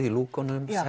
í lúkunum